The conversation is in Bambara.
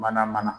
Mana mana